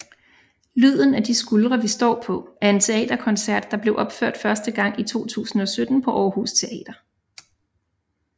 Lyden af de skuldre vi står på er en teaterkoncert der blev opført første gang i 2017 på Aarhus Teater